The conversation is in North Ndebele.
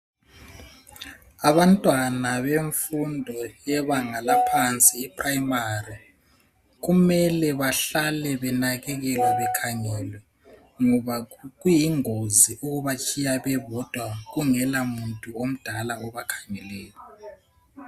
Abantwana bemfundo yebanga laphansi iprimary, kumele behlale benakekelwa bekhangelwe ngabo kuyingozi ukuba tshiya bebodwa kungela muntu omdala obakhangeleyo.